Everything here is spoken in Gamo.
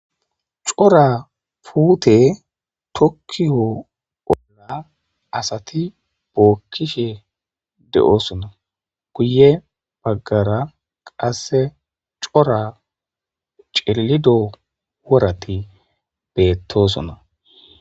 cora puute tokkiyo bolla asati bookkishe de7osona kuye baggara qasse cora cillido worati beettosona